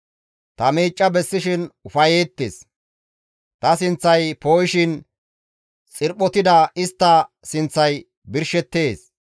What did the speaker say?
Ta miicca bessishin istti ufayettetes; ta sinththay poo7ishin xirphotida istta sinththay birshettees.